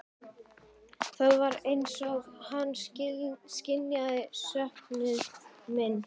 Það var eins og hann skynjaði söknuð minn.